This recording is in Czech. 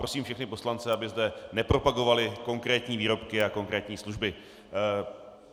Prosím všechny poslance, aby zde nepropagovali konkrétní výrobky a konkrétní služby.